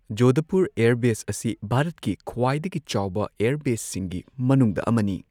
Jodhpur airbase ꯑꯁꯤ ꯚꯥꯔꯠꯀꯤ ꯈ꯭ꯋꯥꯏꯗꯒꯤ ꯆꯥꯎꯕ ꯑꯦꯌꯔꯕꯦꯁꯁꯤꯡꯒꯤ ꯃꯅꯨꯡꯗ ꯑꯃꯅꯤ꯫